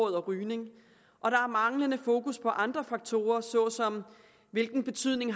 rygning og der er manglende fokus på andre faktorer såsom hvilken betydning